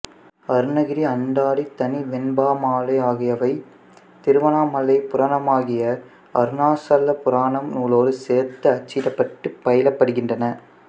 அருணகிரி அந்தாதி தனிவெண்பாமாலை ஆகியவை திருவண்ணாமலைப் புராணமாகிய அருணாசல புராணம் நூலோடு சேர்த்து அச்சிடப்பட்டுப் பயிலப்படுகின்றன